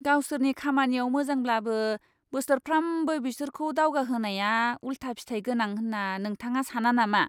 गावसोरनि खामानियाव मोजांब्लाबो बोसोरफ्रामबो बिसोरखौ दावगाहोनाया उलथा फिथाय गोनां होन्ना नोंथाङा साना नामा?